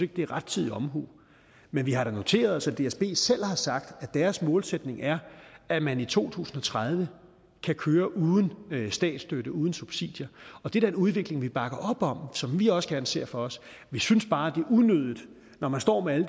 det er rettidig omhu vi vi har dog noteret os at dsb selv har sagt at deres målsætning er at man i to tusind og tredive kan køre uden statsstøtte uden subsidier og det er da en udvikling vi bakker op om og som vi også gerne ser for os vi synes bare det er unødigt når man står med alle